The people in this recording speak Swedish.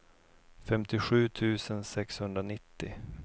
femtiosju tusen sexhundranittio